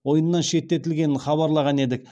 ойыннан шеттетілгенін хабарлаған едік